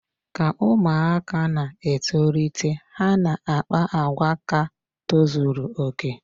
Ka ụmụaka na-etolite, ha na-akpa àgwà ka tozuru okè.